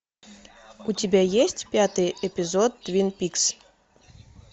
у тебя есть пятый эпизод твин пикс